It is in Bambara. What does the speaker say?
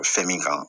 Fɛn min kan